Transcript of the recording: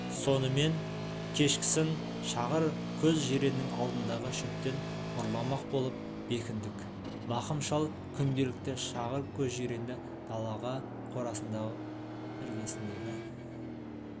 сонымен кешкісін шағыр көз жиреннің алдындағы шөптен ұрламақ болып бекіндік мақым шал күнделікті шағыр көз жиренді далаға қорасының іргесіндегі